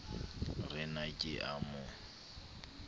re na ke a mo